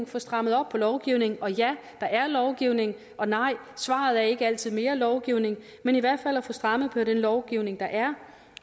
få strammet op på lovgivningen og ja der er lovgivning og nej svaret er ikke altid mere lovgivning men i hvert fald at få strammet op på den lovgivning der er